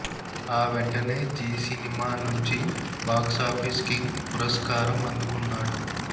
ఆ వెంటనే జీ సినిమా నుంచి బాక్సాఫీస్ కింగ్ పురస్కారం అందుకున్నాడు